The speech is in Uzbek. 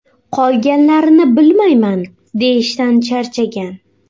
Qolganlarini bilmayman”, deyishdan charchagan.